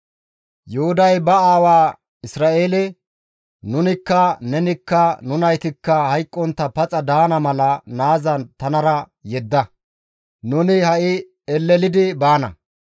Yuhuday ba aawa Isra7eele, «Nunikka, nenikka, nu naytikka hayqqontta paxa daana mala naaza tanara yedda; nuni ha7i elelidi baana.